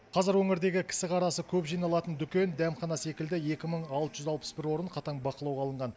қазір өңірдегі кісі қарасы көп жиналатын дүкен дәмхана секілді екі мың алты жүз алпыс бір орын қатаң бақылауға алынған